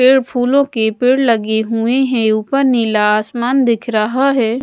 पेड़ फूलों के पेड़ लगे हुए हैं। ऊपर नीला आसमान दिख रहा है।